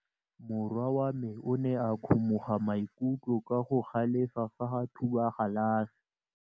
Morwa wa me o ne a kgomoga maikutlo ka go galefa fa a thuba galase.